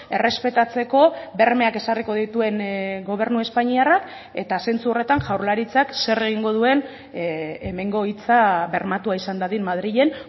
errespetatzeko bermeak ezarriko dituen gobernu espainiarrak eta zentzu horretan jaurlaritzak zer egingo duen hemengo hitza bermatua izan dadin madrilen